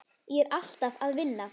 Ég er alltaf að vinna.